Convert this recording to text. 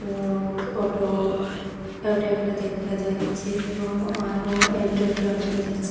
এবং auto auto একটা দেখা যাচ্ছে এব আরও আল্টো একটাও দেখা যাচ্ছে।